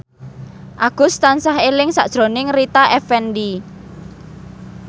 Agus tansah eling sakjroning Rita Effendy